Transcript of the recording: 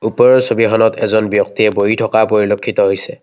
ওপৰৰ ছবিখনত এজন ব্যক্তিয়ে বহি থকা পৰিলেক্ষিত হৈছে।